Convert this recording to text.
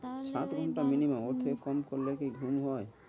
তাহলেই বল, সাত ঘন্টা minimum ওর থেকে কম করলে কি ঘুম হয়?